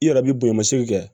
I yɛrɛ b'i bonɲa segi kɛ